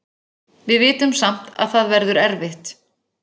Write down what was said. Við vitum samt að það verður erfitt.